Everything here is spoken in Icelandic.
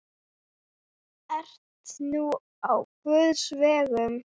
Ert nú á guðs vegum.